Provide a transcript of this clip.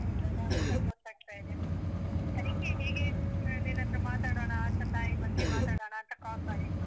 ಅದ್ರರ್ಥ ಗೊತ್ತಾಗ್ತಾ ಇದೆ. ಅದಕ್ಕೆ ಹೀಗೆ ಆಹ್, ನಿನ್ನತ್ರ ಮಾತಾಡೋಣ ಅಂತ ತಾಯಿ ಬಗ್ಗೆ ಮಾತಾಡಣಾಂತ call ಮಾಡಿದ್ದು.